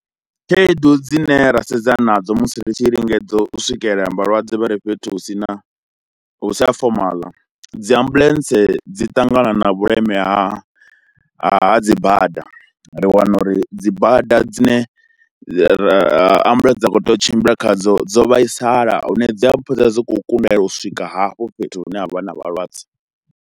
Khaedu dzine ra sedza nadzo musi ri tshi lingedza u swikelela vhalwadze vha ri fhethu hu si na, hu si ha fomala dzi ambuḽentse dzi ṱangana na vhuleme ha ha dzi bada, ri wana uri dzi bada dzine ambuḽentse dza khou tea u tshimbila khadzo dzo vhaisala hune dzi a fhedza dzi khou kundelwa u swika hafho fhethu hune ha vha na vhalwadze.